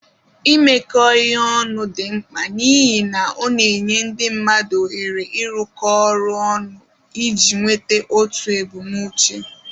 Imekọ ihe ọnụ dị mkpa n'ihi na ọ na-enye ndị mmadụ ohere ịrụkọ ọrụ ọnụ iji nweta otu ebumnuche